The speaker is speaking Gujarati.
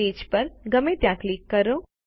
પેજ પર ગમે ત્યાં ક્લિક કરો